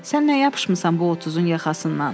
Sən nə yapışmısan bu 30-un yaxasından?